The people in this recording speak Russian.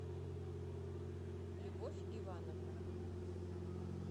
любовь ивановна